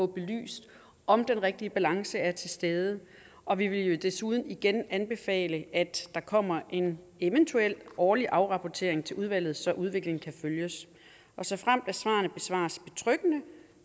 belyst om den rigtige balance er til stede og vi vil desuden igen anbefale at der kommer en eventuel årlig afrapportering til udvalget så udviklingen kan følges såfremt svarene besvares betryggende